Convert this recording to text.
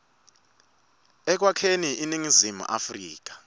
ekwakheni iningizimu afrika